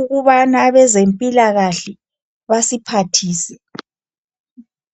ukubana abezempilakahle basiphathise.